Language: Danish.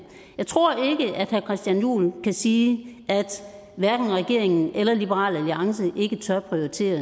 jeg tror ikke at herre christian juhl kan sige at regeringen eller liberal alliance ikke tør prioritere